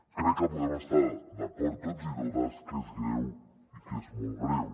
crec que podem estar d’acord tots i totes que és greu i que és molt greu